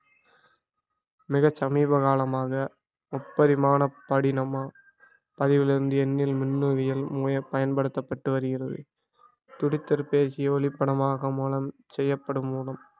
மிகத் சமீப காலமாக முப்பரிமான படினமா பதிவிலிருந்து என்னில் மின்னுவியல் முறை பயன்படுத்தப்பட்டு வருகிறது ஒளிபடமாக மூலம் செய்யப்படும் மூலம்